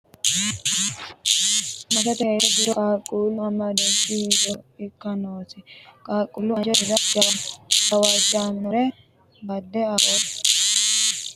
Maatete heeshsho giddo qaaqquullu amadooshshi hiittooha ikka noosi? Qaaqquullu anje dirira gawajjannore badde affannokkihura maricho assa hasiissanno? Uddanonsa garunni hayishshine amada hoongiro maricho abbitanno?